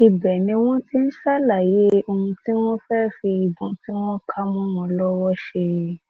ibẹ ni wọn ti ń ṣàlàyé ohun tí wọn fẹẹ fi ìbọn tí wọn kà mọ wọn lọwọ ṣe